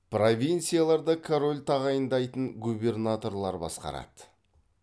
провинцияларды король тағайындайтын губернаторлар басқарады